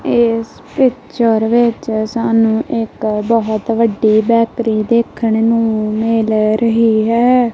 ਇਸ ਪਿੱਚਰ ਵਿੱਚ ਸਾਨੂੰ ਇੱਕ ਬਹੁਤ ਵੱਡੀ ਬੈਕਰੀ ਦੇਖਣ ਨੂੰ ਮਿਲ ਰਹੀ ਹੈ।